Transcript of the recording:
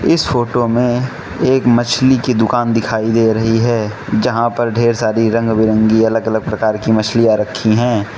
इस फोटो मे एक मछली की दुकान दिखाई दे रही है जहां पर ढेर सारी रंग बिरंगी अलग-अलग प्रकार की मछलियां रखी हैं।